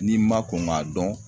N'i ma kɔn ŋ'a dɔn